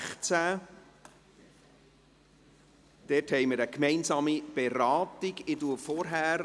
Es findet eine gemeinsame Beratung dieser Traktanden statt.